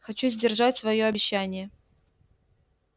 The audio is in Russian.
хочу сдержать своё обещание